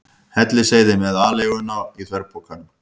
Hellisheiði með aleiguna í þverpokum.